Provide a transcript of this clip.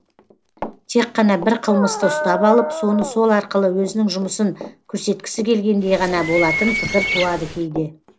тек қана бір қылмысты ұстап алып соны сол арқылы өзінің жұмысын көрсеткісі келгендей ғана болатын пікір туады кейде